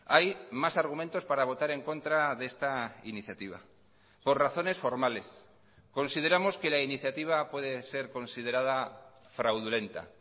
hay más argumentos para votar en contra de esta iniciativa por razones formales consideramos que la iniciativa puede ser considerada fraudulenta